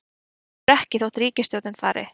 Hverfur ekki þótt ríkisstjórnin fari